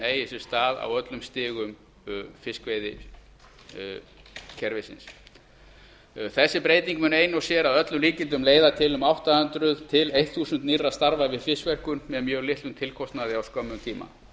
sér stað á öllum stigum fiskveiðikerfisins þessi breyting ein sér mun að öllum líkindum leiða til um átta hundruð til þúsund nýrra starfa við fiskverkun með mjög litlum tilkostnaði á skömmum tíma